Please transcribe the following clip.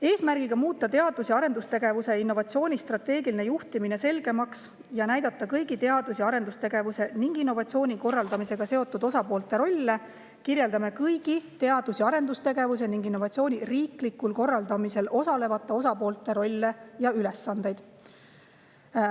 Eesmärgiga muuta teadus‑ ja arendustegevuse ning innovatsiooni strateegiline juhtimine selgemaks ja kõigi selle korraldamisega seotud osapoolte rolle kirjeldame kõigi teadus- ja arendustegevuse ning innovatsiooni riiklikus korraldamises osalejate ülesandeid.